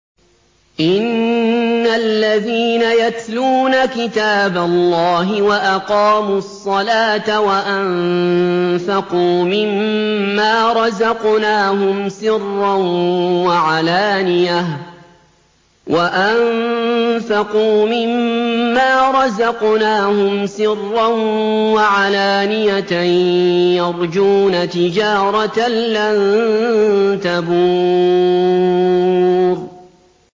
إِنَّ الَّذِينَ يَتْلُونَ كِتَابَ اللَّهِ وَأَقَامُوا الصَّلَاةَ وَأَنفَقُوا مِمَّا رَزَقْنَاهُمْ سِرًّا وَعَلَانِيَةً يَرْجُونَ تِجَارَةً لَّن تَبُورَ